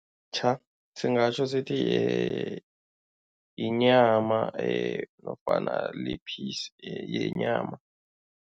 singatjho sithi yinyama nofana li-piece yenyama.